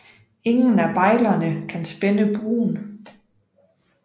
Ingen af bejlerne kan spænde buen